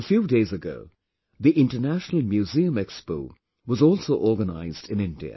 A few days ago the International Museum Expo was also organized in India